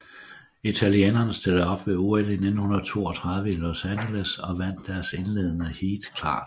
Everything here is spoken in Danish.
Italienerne stillede op ved OL 1932 i Los Angeles og vandt deres indledende heat klart